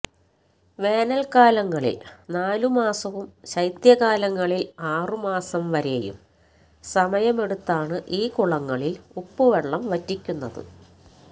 വേനൽകാലങ്ങളിൽ നാലു മാസവും ശൈത്യകാലങ്ങളിൽ ആറു മാസം വരെയും സമയമെടുത്താണ് ഈ കുളങ്ങളിൽ ഉപ്പുവെള്ളം വറ്റിക്കുന്നത്